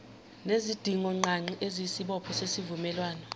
nezidingongqangi eziyisibopho sesivumelwano